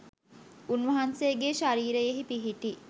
උන් වහන්සේගේ ශරීරයෙහි පිහිටි